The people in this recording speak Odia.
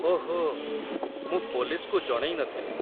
ଓହୋ, ମୁଁ ପୋଲିସ୍‌କୁ ଜଣେଇନଥିଲି ।